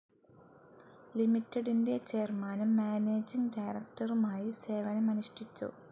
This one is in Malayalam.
ലിമിറ്റഡിൻ്റെ ചെയർമാനും മാനേജിങ്‌ ഡയറക്ടറുമായി സേവനമനുഷ്ഠിച്ചു.